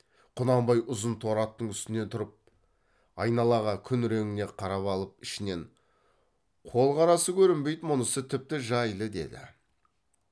құнанбай ұзын торы аттың үстіне тұрып айналаға күн реңіне қарап алып ішінен қол қарасы көрінбейді мұнысы тіпті жайлы деді